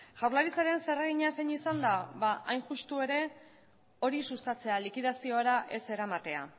jaurlaritzaren zeregina zein izan da hain justu ere hori sustatzea likidaziora ez eramatea